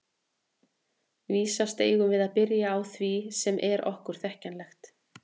Vísast eigum við að byrja á því sem er okkur þekkjanlegt.